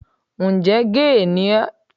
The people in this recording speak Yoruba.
Ǹjẹ́ géè ni ẹ́?